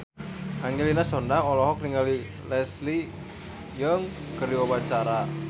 Angelina Sondakh olohok ningali Leslie Cheung keur diwawancara